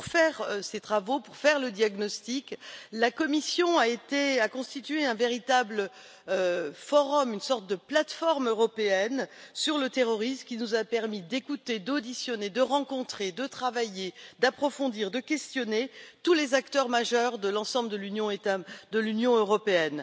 Pour réaliser ces travaux, pour poser le diagnostic, la commission a constitué un véritable forum, une sorte de plateforme européenne sur le terrorisme, qui nous a permis d'écouter, d'auditionner, de rencontrer, de travailler, d'approfondir, de questionner tous les acteurs majeurs de l'ensemble de l'Union européenne.